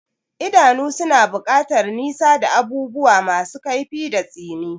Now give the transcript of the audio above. Idanu suna buƙatar nisa da abubuwa masu kaifi da tsini.